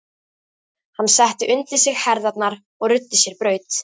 Hann setti undir sig herðarnar og ruddi sér braut.